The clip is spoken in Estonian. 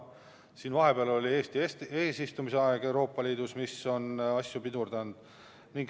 Vahepeal oli Eesti eesistumise aeg Euroopa Liidus, mis asju pidurdas.